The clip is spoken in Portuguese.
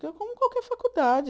Que é como qualquer faculdade.